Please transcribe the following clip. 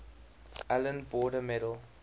allan border medal